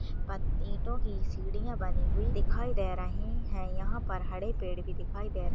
ईंटों की सीढियाँ बनी हुई दिखाई दे रहीं हैं। यहाँ पर हड़े पेंड़ भी दिखाई दे --